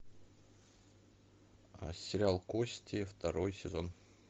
сериал кости второй сезон